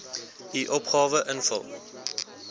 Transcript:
u opgawe invul